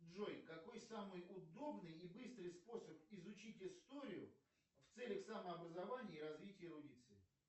джой какой самый удобный и быстрый способ изучить историю в целях самообразования и развития эрудиции